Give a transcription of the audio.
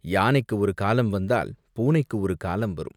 யானைக்கு ஒரு காலம் வந்தால், பூனைக்கு ஒரு காலம் வரும்.